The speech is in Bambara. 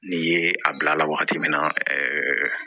N'i ye a bila a la wagati min na ɛɛ